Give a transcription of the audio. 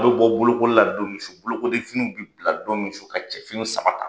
A b bɔ bolokoli la don min su bolokodenfiniw bi bila don min su ka cɛfini saba ta.